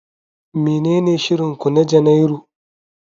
Menene shirin ku na Janairu?